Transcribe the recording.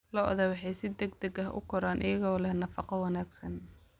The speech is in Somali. Lo'da lo'da waxay si degdeg ah u koraan iyagoo leh nafaqo wanaagsan.